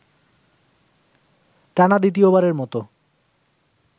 টানা দ্বিতীয়বারের মতো